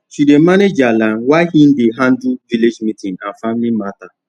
she dey manage their land while he dey handle village meeting and family matter